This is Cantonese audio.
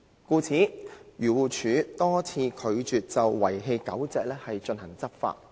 故此，漁農自然護理署多次拒絕就遺棄狗隻進行執法。